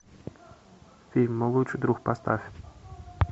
фильм мой лучший друг поставь